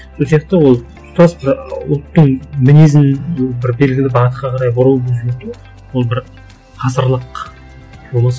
сол сияқты ол тұтас бір ұлттың мінезін бір белгілі бағытқа қарай бұру өзгерту ол бір ғасырлық болмаса